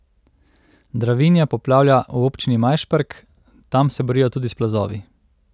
Dravinja poplavlja v občini Majšperk, tam se borijo tudi s plazovi.